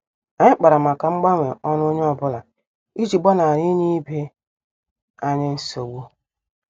Anyị kpara màkà mgbanwe ọrụ onye ọ bụla iji gbanari inye ibe anyị nsogbu.